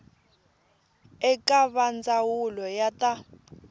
eka va ndzawulo ya ta